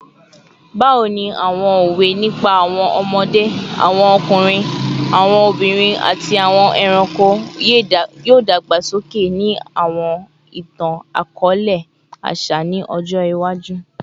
Bawo ni awọn owe nipa awọn ọmọde, awọn ọkunrin, awọn obinrin, ati awọn ẹranko yoo dagbasoke ni awọn itan-akọọlẹ aṣa ni ọjọ iwaju?